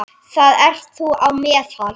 Þar ert þú á meðal.